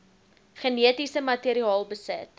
genetiese materiaal besit